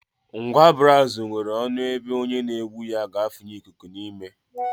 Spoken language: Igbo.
Ngwa braazụ nwere ọnụ ebe onye n'egbu ya ga-afụnye ikuku n'ime